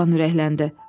Oğlan ürəkləndi.